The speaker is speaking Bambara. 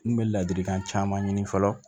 N kun bɛ ladilikan caman ɲini fɔlɔ